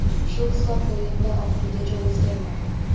Shu hisob o‘yinda oxirigacha o‘zgarmadi.